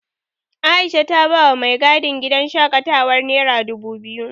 Aisha ta bawa mai gadin gidan shaƙatawar nera dubu biyu.